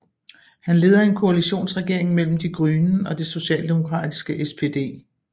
Han leder en koalitionsregering mellem Die Grünen og det socialdemokratiske SPD